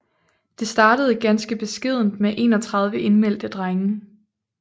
Det startede ganske beskedent med 31 indmeldte drenge